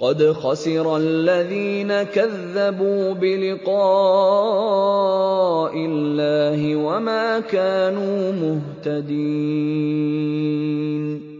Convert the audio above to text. قَدْ خَسِرَ الَّذِينَ كَذَّبُوا بِلِقَاءِ اللَّهِ وَمَا كَانُوا مُهْتَدِينَ